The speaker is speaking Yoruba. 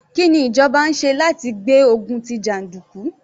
Kí ni ìjọba ń ṣe láti gbé ogun tí jàndùkú?